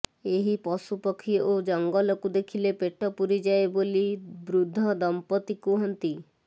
ଏହି ପଶୁ ପକ୍ଷୀ ଓ ଜଙ୍ଗଲକୁ ଦେଖିଲେ ପେଟ ପୁରିଯାଏ ବୋଲି ବୃଦ୍ଧ ଦମ୍ପତି କୁହନ୍ତି